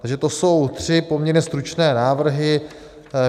Takže to jsou tři poměrně stručné návrhy.